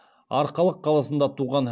арқалық қаласында туған